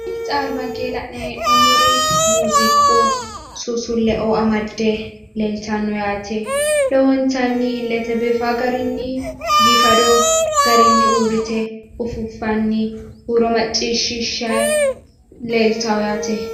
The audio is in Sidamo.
Kuri albaankenni la'nanni hee'noommori muziiqu susule woyi xurunba amade huuronsa macciishshanni afantano yaate lowo geeshsha biifano